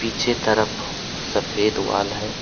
पीछे तरफ सफ़ेद वॉल है।